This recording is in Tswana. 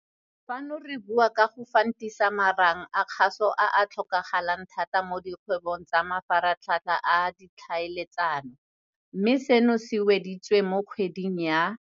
Fano re bua ka go fantisa marang a kgaso a a tlhokagalang thata mo dikgwebong tsa mafaratlhatlha a ditlhaeletsano, mme seno se weditswe mo kgweding ya